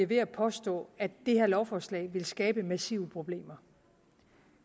ved at påstå at det her lovforslag vil skabe massive problemer